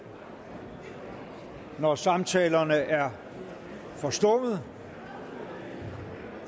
når samtalerne er forstummet